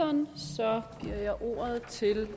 om ordet til